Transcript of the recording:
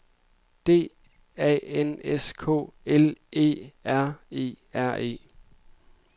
D A N S K L Æ R E R E